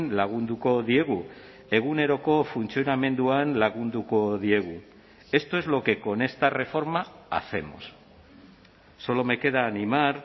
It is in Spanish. lagunduko diegu eguneroko funtzionamenduan lagunduko diegu esto es lo que con esta reforma hacemos solo me queda animar